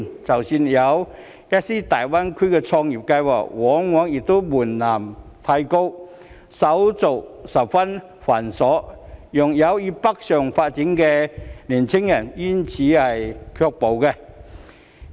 即使有，一些大灣區創業計劃往往門檻過高，手續十分繁瑣，令有意北上發展的年輕人卻步。